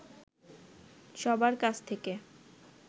সবার কাছ থেকে